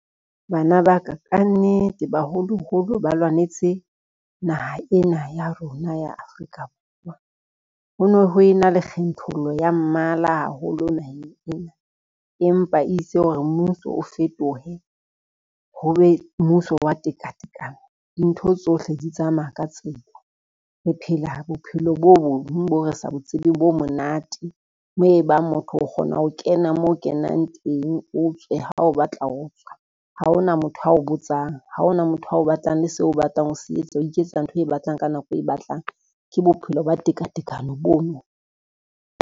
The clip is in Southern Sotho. Bana ba ka ka nnete baholoholo ba lwanetse naha ena ya rona ya Afrika Borwa, ho no ho ena le kgethollo ya mmala haholo naheng ena, empa itse hore mmuso o fetohe ho be mmuso wa tekatekano. Dintho tsohle di tsamaya ka tsela re phela bophelo bo bong bo re sa bo tsebeng bo monate, moo e bang motho o kgona ho kena mo o kenang teng o tswe ha e ba o batla ho tswa, ha ona motho a o botsang, ha ona motho a o batlang le seo o batlang ho se etsa, o iketsa ntho o e batlang ka nako eo batlang, ke bophelo ba tekatekano bono.